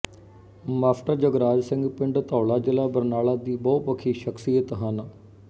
master Jagraj Singh ਪਿੰਡ ਧੌਲਾ ਜ਼ਿਲ੍ਹਾ ਬਰਨਾਲਾ ਦੀ ਬਹੁਪੱਖੀ ਸ਼ਖ਼ਸੀਅਤ ਹਨ